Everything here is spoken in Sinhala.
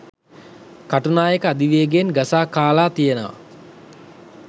කටුනායක අධිවේගයෙන් ගසා කාලා තියෙනවා.